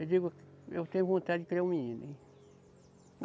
Eu digo, eu tenho vontade de criar um menino, hein.